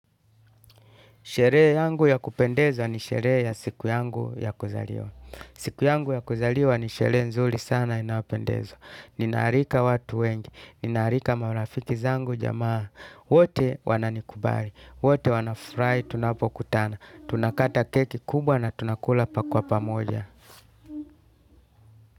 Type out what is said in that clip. Sherehe yangu ya kupendeza ni sherehe ya siku yangu ya kuzaliwa. Siku yangu ya kuzaliwa ni sherehe nzuli sana inayopendeza. Ninaarika watu wengi. Ninaarika marafiki zangu jamaa. Wote wananikubari. Wote wanafrai tunapokutana. Tunakata keki kubwa na tunakula pa kwa pamoja.